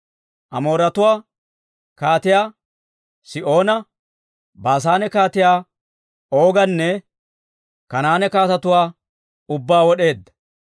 Amooretuwaa kaatiyaa Sihoona, Baasaane kaatiyaa Ooganne, Kanaane kaatetuwaa ubbaa wod'eedda.